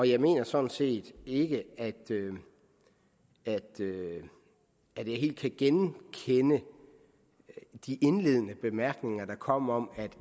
jeg mener sådan set ikke at jeg helt kan genkende de indledende bemærkninger der kom om at